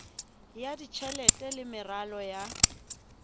ya tjhelete le meralo ya